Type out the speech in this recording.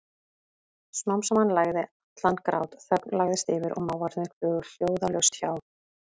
Smám saman lægði allan grát, þögn lagðist yfir og máfarnir flugu hljóðalaust hjá.